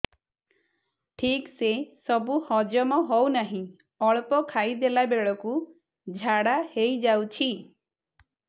ଠିକସେ ସବୁ ହଜମ ହଉନାହିଁ ଅଳ୍ପ ଖାଇ ଦେଲା ବେଳ କୁ ଝାଡା ହେଇଯାଉଛି